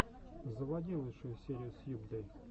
заводи лучшую серию сьюбдэй